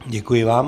Děkuji vám.